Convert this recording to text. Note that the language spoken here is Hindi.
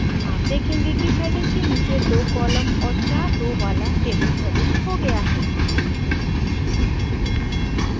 आप देखेंगे कि डैंडिग के नीचे दो columns और चार rows वाला table प्रविष्ट हो गया है